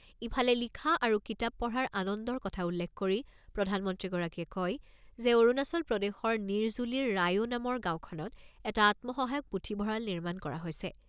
ইফালে লিখা আৰু কিতাপ পঢ়াৰ আনন্দৰ কথা উল্লেখ কৰি প্ৰধানমন্ত্ৰীগৰাকীয়ে কয় যে, অৰুণাচল প্ৰদেশৰ নিৰজুলিৰ ৰায়ো নামৰ গাঁওখনত এটা আত্মসহায়ক পুথিভঁৰাল নিৰ্মাণ কৰা হৈছে।